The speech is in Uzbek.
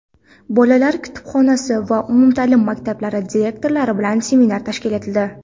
"Bolalar kutubxonasi" va umumta’lim maktablari direktorlari bilan seminar tashkil etildi.